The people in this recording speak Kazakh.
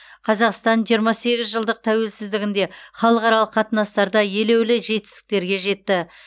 қазақстан жиырма сегіз жылдық тәуелсіздігінде халықаралық қатынастарда елеулі жетістіктерге жетті